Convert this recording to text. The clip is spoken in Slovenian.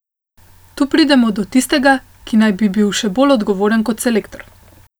Tu pridemo do tistega, ki naj bi bil še bolj odgovoren kot selektor.